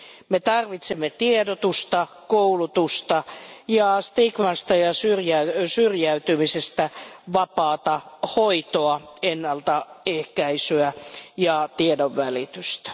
Me tarvitsemme tiedotusta, koulutusta ja stigmasta ja syrjäytymisestä vapaata hoitoa, ennaltaehkäisyä ja tiedonvälitystä.